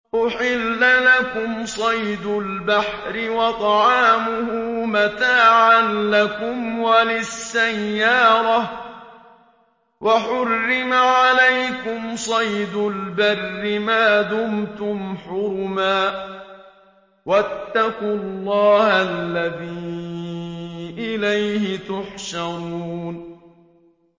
أُحِلَّ لَكُمْ صَيْدُ الْبَحْرِ وَطَعَامُهُ مَتَاعًا لَّكُمْ وَلِلسَّيَّارَةِ ۖ وَحُرِّمَ عَلَيْكُمْ صَيْدُ الْبَرِّ مَا دُمْتُمْ حُرُمًا ۗ وَاتَّقُوا اللَّهَ الَّذِي إِلَيْهِ تُحْشَرُونَ